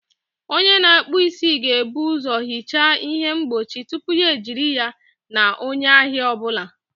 Onye na-akpụ isi ga-ebu ụzọ hichaa ihe mgbochi tupu ya ejiri ya na onye ahịa ọ bụla